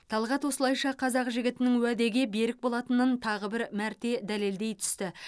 талғат осылайша қазақ жігітінің уәде берік болатынын тағы бір мәрте дәлелдей түсті